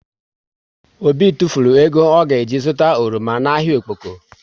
Obi tufulu ego ọ ga ji zụta oroma na ahịa Okpoko